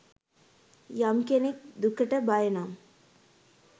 යම් කෙනෙක් දුකට බය නම්